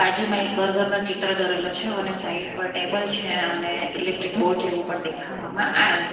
બાજુમાં એક બર્ગર નો ચિત્ર દોરેલો છે અને સાઈડ પર ટેબલ છે અને ઈલેક્ટ્રીક બોર્ડ જેવું પણ ડેખાવામાં આવે છે.